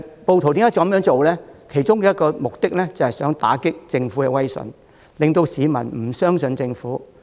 暴徒這樣做的其中一個目的，是希望打擊政府威信，令市民不信任政府。